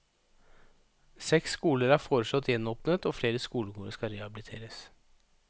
Seks skoler er foreslått gjenåpnet og flere skolegårder skal rehabiliteres.